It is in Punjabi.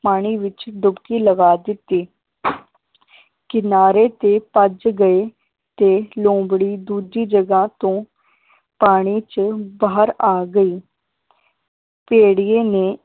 ਪਾਣੀ ਵਿਚ ਡੁੱਬਕੀ ਲਗਾ ਦਿੱਤੀ ਕਿਨਾਰੇ ਤੇ ਭੱਜ ਗਏ ਤੇ ਲੋਮੜੀ ਦੂਜੀ ਜਗ੍ਹਾ ਤੋਂ ਪਾਣੀ ਚ ਬਾਹਰ ਆ ਗਈ ਭੇੜੀਏ ਨੇ